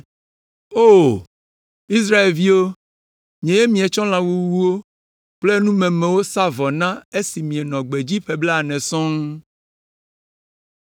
“O, Israelviwo, nyee mietsɔ lã wuwuwo kple numemewo sa vɔ na esi mienɔ gbedzi ƒe blaene sɔŋ?